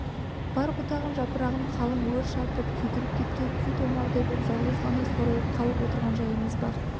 бар бұтағын жапырағын қалың өрт шарпып күйдіріп кеткен қу томардай боп жалғыз ғана сорайып қалып отырған жайымыз бар